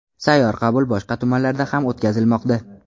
Sayyor qabul boshqa tumanlarda ham o‘tkazilmoqda.